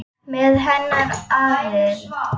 Með hennar aðild.